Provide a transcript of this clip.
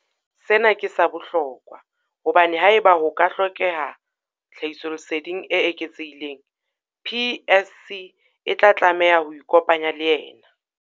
Sena ke sa bohlokwa hobane haeba ho ka ha hlokeha tlhahisoleseding e eketsehileng, PSC e tla tlameha ho ikopanya le yena.